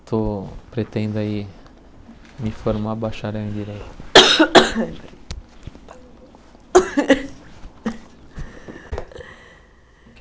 Estou pretendo aí me formar bacharel em direito.